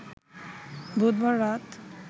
বুধবার রাত